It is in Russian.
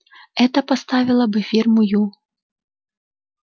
это поставило бы фирму ю